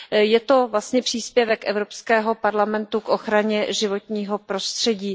Je to vlastně příspěvek Evropského parlamentu k ochraně životního prostředí.